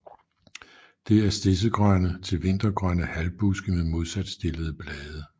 Det er stedsegrønne til vintergrønne halvbuske med modsat stillede blade